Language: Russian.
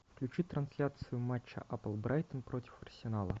включи трансляцию матча апл брайтон против арсенала